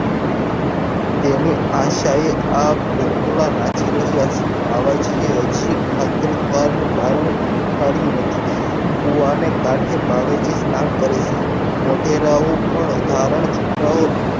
એવી આશાએ આ ભોગલા નાચી રહ્યા છે બાલાજી એ હજીએ ઠાકર દ્વાર નું બારણું ઉખાડ્યું નથી કુવાને કાંઠે બાવાજી સ્નાન કરે છે મોગેરાઓ પણ ધારણ છુપાઓ